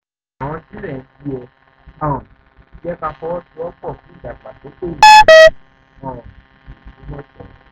kì í ṣe nítorí ọ̀la la ṣe jọba ṣe jọba kì í ṣe nítorí orúkọ ọlọ́run ti fún wa nìyẹn